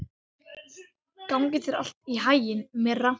Gangi þér allt í haginn, Myrra.